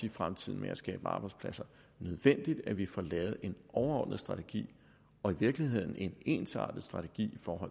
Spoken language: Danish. i fremtiden med at skabe arbejdspladser at vi får lavet en overordnet strategi og i virkeligheden en ensartet strategi for